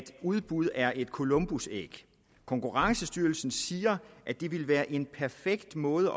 udbud er et columbusæg konkurrencestyrelsen siger at det ville være en perfekt måde